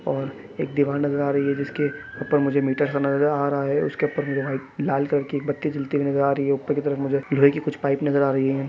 और एक दिवार नजर आ रही है जिसके ऊपर मुझे मीटर नज़र आ रहा है उसके ऊपर मुझे लाल कलर की बत्ती नज़र आ रही है ऊपर की तरफ मुझे लड़की कुछ पाइप नजर आ रही है।